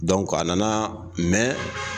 Donc a nana ,mɛn